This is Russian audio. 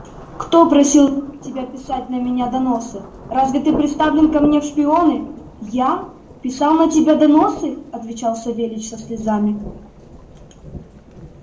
кто просил тебя писать на меня доносы разве ты приставлен ко мне в шпионы я писал на тебя доносы отвечал савельич со слезами